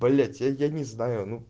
блять я я тебя не знаю ну